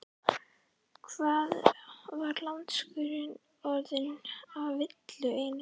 Hann var landskunnur orðinn og af illu einu.